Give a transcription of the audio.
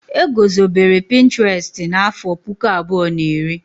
E gozobere pinturestu n'àfọ́ puku abụọ na iri.